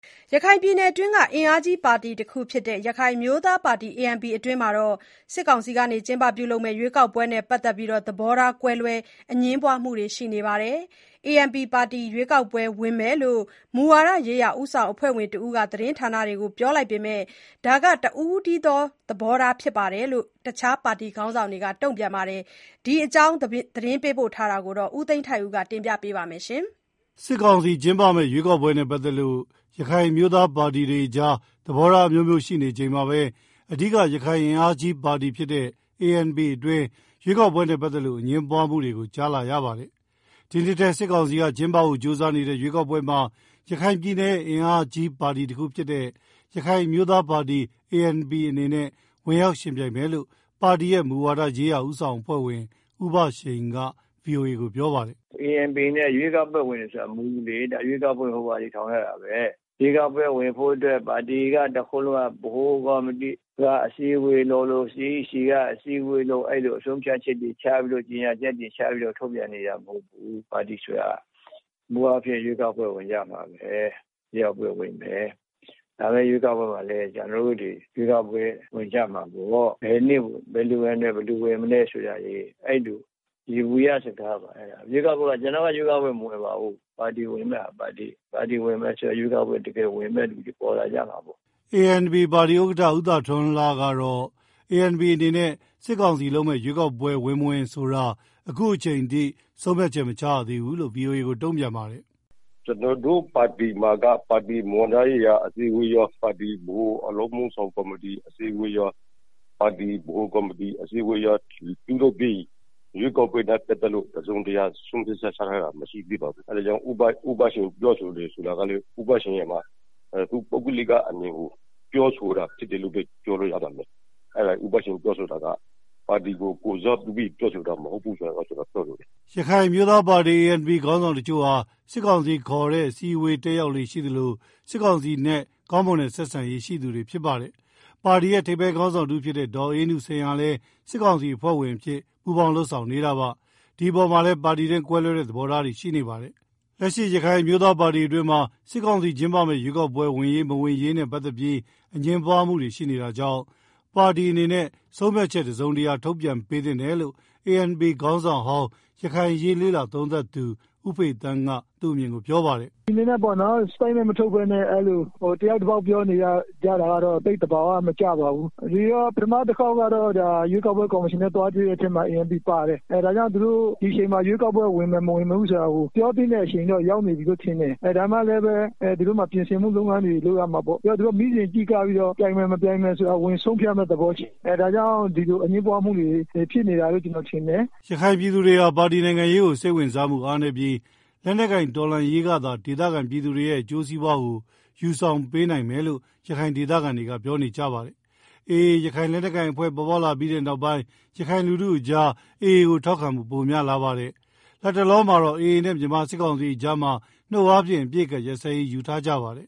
ရခိုင်ပြည်နယ်တွင်း အင်အားကြီးပါတီတခုဖြစ်တဲ့ ရခိုင်အမျိုးသားပါတီ အတွင်းမှာ စစ်ကောင်စီလုပ်မယ့်ရွေးကောက်ပွဲနဲ့ပတ်သက်လို့ သဘောကွဲလွဲ အငြင်းပွားမှုတွေရှိနေပါတယ်။ ANP ပါတီ ရွေးကောက်ပွဲဝင်မယ်လို့ မူဝါဒရေးရာဦးဆောင်အဖွဲ့ဝင်တဦးက သတင်းဌာနတွေကိုပြောလိုက်ပေမယ့်၊ ဒါဟာ တစ်ဦးတည်းသဘောထားဖြစ်တယ်လို့ အခြားပါတီခေါင်းဆောင်တွေက တုန့်ပြန်ပါတယ်။ ဒီအကြောင်း သတင်းပေးပို့ချက်ကို ကိုသိန်းထိုက်ဦးက တင်ပြပါမယ်။ စစ်ကောင်စီကျင်းပမယ့်ရွေးကောက်ပွဲနဲ့ပတ်သက်လို့ ရခိုင်အမျိုးသားပါတီတွေအကြား သဘောထားအမျိုးမျိုးရှိနေချိန်မှာပဲ၊ အဓိက ရခိုင်အင်အားကြီးပါတီဖြစ်တဲ့ ANP အတွင်း ရွေးကောက်ပွဲနဲ့ပတ်သက်လို့ အငြင်းပွားမှုတွေကို ကြားလာရတာပါ။ ဒီနှစ်ထဲ စစ်ကောင်စီက ကျင်းပဖို့ကြိုးစားနေတဲ့ ရွေးကောက်ပွဲမှာ ရခိုင်ပြည်နယ်ရဲ့အင်အားကြီး ပါတီတခုဖြစ်တဲ့ ရခိုင်အမျိုးသားပါတီ အနေနဲ့ ဝင်ရောက်ယဉ်ပြိုင်မယ်လို့ ပါတီရဲ့ မူဝါဒရေးရာ ဦးဆောင်အဖွဲ့ဝင် ဦးဘရှိန်က ဗွီအိုအေကို ပြောပါတယ်။ “ ANPအနေနဲ့ ရွေးကောက်ပွဲဝင်တယ်ဆိုတာ မူလေ၊ ရွေးကောက်ပွဲ ဝင်ဖို့ ပါတီထောင်ထား တာပဲ၊ ရွေးကောက်ပွဲဝင်ဖို့ ပါတီ ဗဟိုကော်မတီကအစည်းအဝေးလုပ်လို့ CECက အစည်း အဝေးလုပ်လို့ ဆုံဖြတ်ချက်တွေ ချ ကြေငြာချက်တွေချပြီးတော့ ထုတ်ပြန်နေ တာမဟုတ်ဘူး၊ ပါတီဆိုတာ မူအားဖြင့် ရွေးကောက်ပွဲဝင်ကြမှာပဲ၊ ရွေးကောက်ပွဲဝင်မယ် လာမယ့်ရွေး ကောက် ပွဲမှာလဲ ကျနော်တို့ ရွေးကောက်ပွဲဝင်ကြမှာဆိုတော့ဘယ်နေ့ ဘယ်သူ ဝင်မလဲဆိုတာ ယေဘုယစကားပါအဲတာ၊ ကျနော်က ရွေးကောက်ပွဲမဝင်ပါဘူး၊ ပါတီဝင်ဆို ပေမယ့် ရွေးကောက်ပွဲ တကယ်ဝင်မယ့်သူတွေပေါ်လာကြမှာပေါ့။” ANP ပါတီဥက္ကဌ ဦးသာထွန်းလှကတော့ ANP အနေနဲ့ စစ်ကောင်စီလုပ်မယ့်ရွေးကောက်ပွဲဝင်မဝင်ဆိုတာကို အခုအချိန်အထိ ဆုံးဖြတ်ချက်မချရသေးဘူးလို့ VOA ကို တုန့်ပြန်ပါတယ်။ “ကျနော်တို့ပါတီမှာက ပါတီမူဝါဒရေးရာအစည်းအဝေးကော ဗဟိုအလုပ်မှုဆောင် ကော်မတီ အစည်းအဝေးကော ပါတီ ဗဟိုကော်မတီအစည်းအဝေးရောပြုလုပ်ပြီး ရွေးကောက်ပွဲနဲ့ပတ် သတ်ပြီး တစုံတရာ ဆုံးဖြတ်ချက် ချထားတာ မရှိသေးပါဘူး၊ အဲတာကြောင့် ဦးဘရှိန် ပြော တယ်ဆိုတာကလဲ သူ့ရဲ့ တစ်ဦးတည်းအမြင်ကို ပြောဆိုတာဖြစ်ပါ လိမ့်မယ်၊ ဦးဘရှိန်ပြောတာက ပါတီကို ကိုယ်စားပြုပြီးပြောဆိုတာမဟုတ်ဘူးဆိုတာ ပြောချင်ပါတယ်။” ရခိုင်အမျိုးသားပါတီ ANP ခေါင်းဆောင်တချို့ဟာ စစ်ကောင်စီခေါ်ဆောင်တဲ့ အစည်းအဝေးတက်ရောက်လေ့ရှိသလို စစ်ကောင်စီနဲ့ ကောင်းမွန်တဲ့ဆက်ဆံရေးရှိပါတယ်။ ပါတီရဲ့ ထိပ်ပိုင်း ခေါင်းဆောင်တဦးဖြစ်တဲ့ ဒေါ်အေးနုစိန်ဟာလဲ စစ်ကောင်စီအဖွဲ့ဝင် အဖြစ် ပူးပေါင်းလုပ်ဆောင်နေတာပါ။ ဒီအပေါ်မှာပါတီတွင်း ကွဲလွဲတဲ့သဘောထားတွေရှိကြပါတယ်။ လက်ရှိရခိုင်အမျိုးသားပါတီအတွင်းမှာ စစ်ကောင်စီကျင်းပမယ့် ရွေးကောက်ပွဲ ဝင်ရေးမဝင် ရေးနဲ့ ပတ်သတ်ပြီး အငြင်းပွားမှုတွေရှိနေတာကြောင့် ပါတီအနေနဲ့ ဆုံးဖြတ်ချက်တစုံတရာ ထုတ်ပြန်ပေးသင့်တယ်လို့ ANP ခေါင်းဆောင်ဟောင်း၊ ရခိုင်အရေးလေ့လာသုံးသပ်သူ ဦးဖေသန်းက သူ့အမြင် ကိုပြောပါတယ်။ “ပါတီအနေနဲ့ ထုတ်ပြန်ချက်မထုတ်ပဲ တယောက် တပေါက်စီ ပြောနေကြတာကတော့ သိပ်သဘာဝမကျပါဘူး၊ ပထမတခေါက် ရွေးကောက်ပွဲ ကော်မရှင်နဲ့ သွားတွေ့တဲ့ထဲမှာလဲ ANPပါတယ်၊ ဒါ့ကြောင့် ဒီအချိန်မှာ ရွေးကောက်ပွဲ ဝင်မယ် မဝင်ဘူးဆိုတာ ပြောသင့်တဲံ အချိန်ရောက်နေပြီလို့ထင်တယ်၊ ဒါပေမယ့် သူတို့မှာတော့ ပြင်ဆင်မှုလုပ်ငန်းတွေ လုပ်ရမှာပေါ့၊ သူတို့ မီးစင်ကြည့်ကပြီးတော့ ဝင်မယ်မဝင်ဘူးဆိုတာ ဆုံးဖြတ်မယ့် သဘောရှိတယ်၊ ဒါကြောင့် ဒီလိုအငြင်းပွားမှုတွေ ဖြစ်နေတာလို့ ကျနော်မြင်တယ်။” ရခိုင်ပြည်သူတွေဟာ ပါတီနိုင်ငံရေးတွေကို စိတ်ဝင်စားမှုအားနည်းပြီး၊ လက်နက်ကိုင်တော်လှန်ရေးကသာ ဒေသခံပြည်သူတွေရဲ့ အကျိုစီးပွားကို ယူဆောင်ပေးနိုင်မယ်လို့ ရခိုင်ဒေသခံတွေကပြောပါတယ်။ AA ရခိုင်လက်နက်ကိုင်အဖွဲ့ ပေါ်ပေါက်လာပြီးတဲ့နောက်ပိုင်း၊ ရခိုင်လူထုအကြား AA ကို ထောက်ခံမှုပိုများလာပါတယ်။ လတ်တလောမှာတော့ AA နဲ့ မြန်မာစစ်ကောင်စီအကြားမှာ နှုတ်အားဖြင့်အပစ်အခတ်ရပ်စဲရေးယူထားကြပါတယ်။